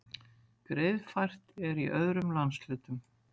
Greiðfært er í öðrum landshlutum